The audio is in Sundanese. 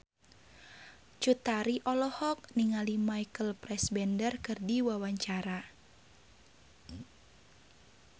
Cut Tari olohok ningali Michael Fassbender keur diwawancara